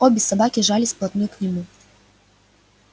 обе собаки жались вплотную к нему